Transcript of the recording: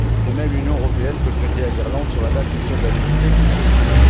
De même, l'Union européenne peut prêter à l'Irlande sur la base d'une solvabilité consolidée.